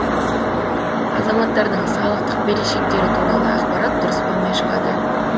азаматтардың салықтық берешектері туралы ақпарат дұрыс болмай шығады